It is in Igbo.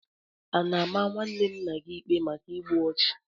A na-ama nwanne nna gị ikpe maka igbu ọchụ?